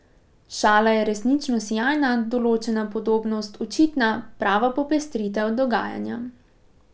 Šala je resnično sijajna, določena podobnost očitna, prava popestritev dogajanja.